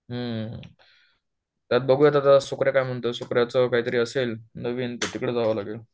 त्यात बघू आत्ता सुकऱ्या काय म्हणतोय सुकऱ्यच काहीतरी असेल नवीन तर तिकडे जावं लागेल